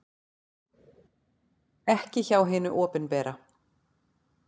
Ekki hjá hinu opinbera.